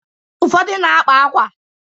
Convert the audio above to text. Ufọdụ na-akpa akwa.